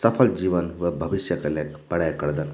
सफल जीवन व भविष्य के ले पड़े करदन ।